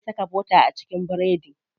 Ana iya saka bota a cikin biredi.